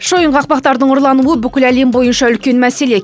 шойын қақпақтардың ұрлануы бүкіл әлем бойынша үлкен мәселе